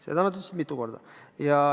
Seda nad ütlesid mitu korda.